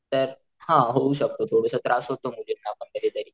तर हा होऊ शकतो थोडस त्रास होतो मुलींना पण कधी तरी.